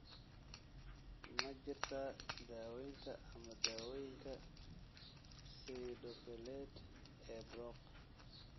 Ma jirtaa daawaynta ama dawooyinka pseudopelade ee Brocq?